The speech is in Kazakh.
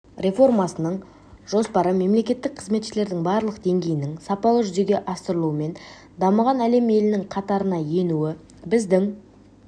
реформасының жоспары мемлекеттік қызметшілердің барлық деңгейінің сапалы жүзеге асырылуымен дамыған әлем елінің қатарына енуі біздің